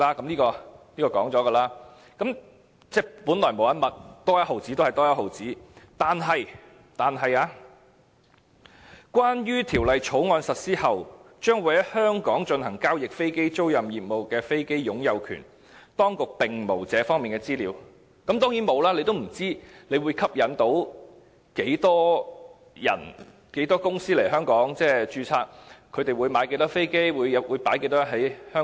這方面已曾提及，即本來無一物，多一毛錢便一毛錢；但政府說"關於條例草案實施後將會在香港進行交易的飛機租賃業務中的飛機的擁有權，當局並無這方面的資料"，當然沒有，因為政府也不知道會吸引多少公司來香港註冊，他們會購買多少飛機或投放多少在香港。